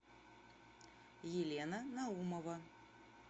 елена наумова